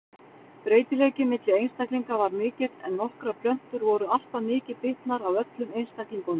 Breytileiki milli einstaklinga var mikill en nokkrar plöntur voru alltaf mikið bitnar af öllum einstaklingunum.